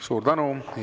Suur tänu!